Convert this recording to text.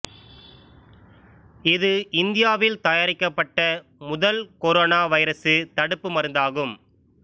இது இந்தியாவில் தயாரிக்கப்பட்ட முதல் கொரோனா வைரசு தடுப்பு மருந்தாகும்